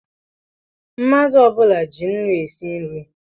Mmadụ ọbula ji ńnú esi nri